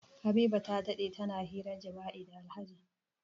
Habiba ta dade tana hirar jima'i da Alhaji.